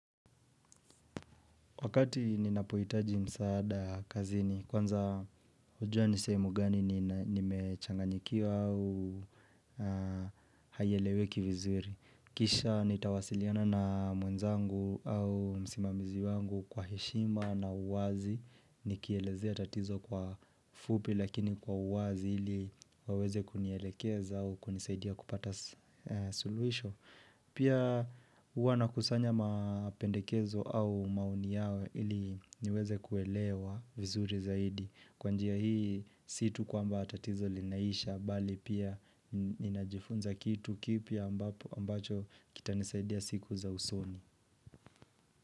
Wakati ninapohitaji msaada kazini, kwanza hujua ni sehemu gani nimechanganyikiwa au haieleweki vizuri. Kisha nitawasiliana na mwenzangu au msimamizi wangu kwa heshima na uwazi, nikielezea tatizo kwa fupi lakini kwa uwazi ili waweze kunielekeza au kunisaidia kupata suluhisho. Pia huwa nakusanya mapendekezo au maoni yao ili niweze kuelewa vizuri zaidi kwa njia hii sii tu kwamba tatizo linaisha bali pia ninajifunza kitu kipya ambacho kitanisaidia siku za usoni.